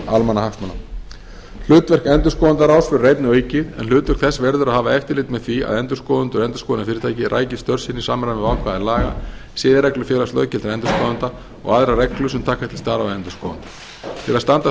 almannahagsmuna hlutverk endurskoðendaráðs verður einnig aukið en hlutverk þess verður að hafa eftirlit með því að endurskoðendur og endurskoðunarfyrirtæki ræki störf sín í samræmi við ákvæði laga siðareglur félags löggiltra endurskoðenda og aðrar reglur sem taka til starfa endurskoðenda til að standa straum af